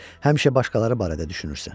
Həmişə başqaları barədə düşünürsən.